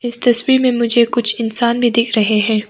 इस तस्वीर में मुझे कुछ इंसान भी दिख रहे हैं।